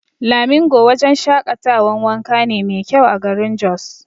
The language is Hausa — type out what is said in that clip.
Lamingo wajan shaƙatawan wanka ne mai kyau a garin Jos